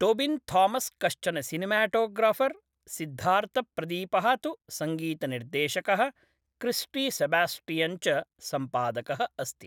टोबिन् थामस् कश्चन सिनेमाटोग्राफर्, सिद्धार्थप्रदीपः तु सङ्गीतनिर्देशकः, क्रिस्टी सेबास्टियन् च सम्पादकः अस्ति ।